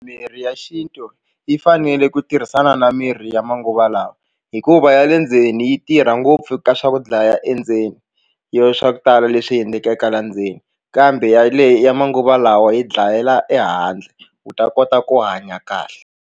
Mirhi ya xintu yi fanele ku tirhisana na mirhi ya manguva lawa hikuva ya le ndzeni yi tirha ngopfu ka swa ku dlaya endzeni yo swa ku tala leswi endlekaka la ndzeni kambe yaleyo ya manguva lawa yi dlayela ehandle u ta kota ku hanya kahle.